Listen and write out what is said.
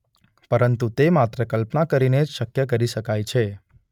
પરંતુ તે માત્ર કલ્પના કરીને જ શક્ય કરી શકાય છે.